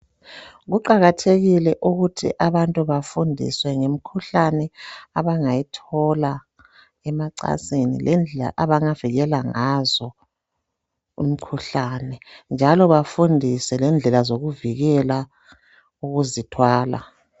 Kuqakathekile ukuthi abantu bafundiswe ngemkhuhlani abangayithola emacansini lendlela abangavikela ngazo umkhuhlane njalo bafundiswe ngendlela zokuvikela ukuzithwala.